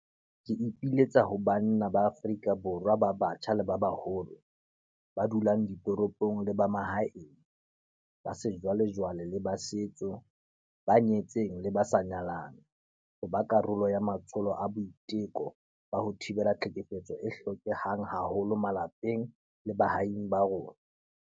Ke ipiletsa ho banna ba Afrika Borwa ba batjha le ba baholo, ba dulang ditoropong le ba mahaeng, ba sejwalejwale le ba setso, ba nyetseng le ba sa nyalang, ho ba karolo ya matsholo a boiteko ba ho thibela tlhekefetso a hlokehang haholo malapeng le baahing ba rona.